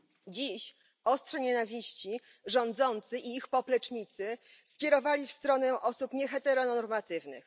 Dziś ostrze nienawiści rządzący i ich poplecznicy skierowali w stronę osób nieheteronormatywnych.